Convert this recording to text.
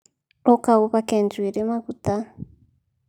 Ũka uhake njuĩrĩ maguta